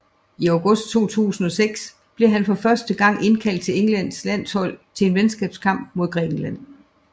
I august 2006 blev han for første gang indkaldt til Englands landshold til en venskabskamp mod Grækenland